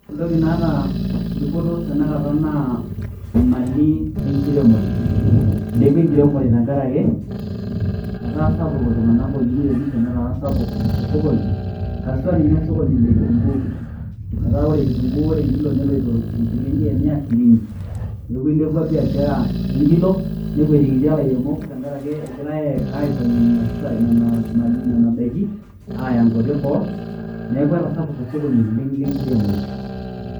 Entoki naata dupoto tanakata naa, imali enkiremore. Ilepwa enkiremore tenkaraki etaa sapuk iltung'anak oyieu niremisho, netaa sapuk osokoni, haswa ninye osokoni lekitunkuu. Etaa ore kitunkuu ore enkilo leloito enchilinki e mia shirini. Neeku ilepua biashara enkilo, nekwetikitia ilairemok tenkaraki egirai aipang'ie nena daiki, aaya nkwapi eboo. Neeku etasapuka osokoni oleng' lenkiremore.